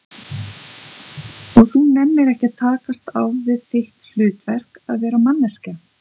Og þú nennir ekki að takast á við þitt hlutverk, að vera manneskja?